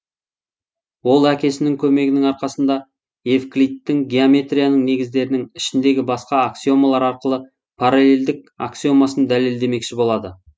ол әкесінің көмегінің арқасында эвклидтің геометрияның негіздерінің ішіндегі басқа аксиомалар арқылы параллелдік аксиомасын дәлелдемекші болады